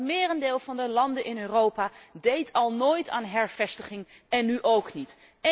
Maar het merendeel van de landen in Europa deed al nooit aan hervestiging, en nú ook niet.